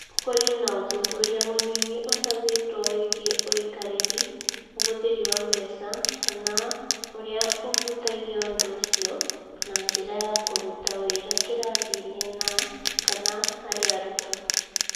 Kũrĩ na ũthuthuria mũnini ũcabĩtwo wĩgiĩ ũikarĩri, ũhũthĩri wa mbeca, kana ũrĩa ũhutagia ũndũ ũcio na njĩra ya kũruta wĩra kĩrathi-inĩ na/kana harĩ arutwo.